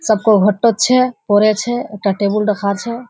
सबको होटो छै पढ़े छै ओता टेबुल रखाल छै।